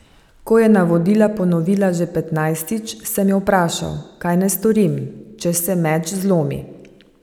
Ko je navodila ponovila še petnajstič, sem jo vprašal, kaj naj storim, če se meč zlomi.